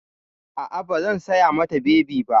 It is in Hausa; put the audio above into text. A'a, ba zan saya mata bebi ba.